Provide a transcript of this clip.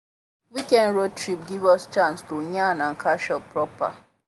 weekend road trip give us chance to yarn and catch up proper.